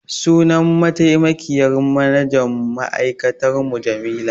Sunan mataimakiyyar manajan ma'aikatar mu Jamila.